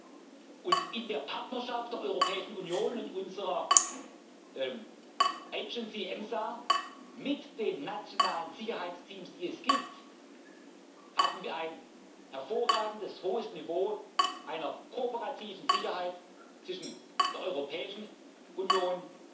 Und in der bestehenden Partnerschaft der Europäischen Union und unserer Behörde EMSA mit den nationalen Sicherheitsteams haben wir ein hervorragendes, hohes Niveau einer kooperativen Sicherheit zwischen der Europäischen